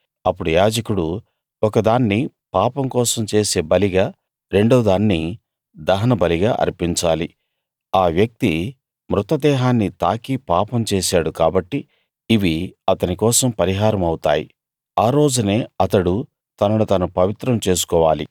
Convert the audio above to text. అప్పుడు యాజకుడు ఒకదాన్ని పాపం కోసం చేసే బలిగా రెండో దాన్ని దహనబలిగా అర్పించాలి ఆ వ్యక్తి మృతదేహాన్ని తాకి పాపం చేసాడు కాబట్టి ఇవి అతని కోసం పరిహారం అవుతాయి ఆ రోజునే అతడు తనను తను పవిత్రం చేసుకోవాలి